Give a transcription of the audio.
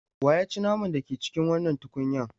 Wa ya ci naman da ke cikin wannan tukunyan?